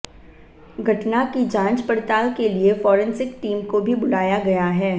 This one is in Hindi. घटना की जांच पड़ताल के लिए फोरेंसिक टीम को भी बुलाया गया है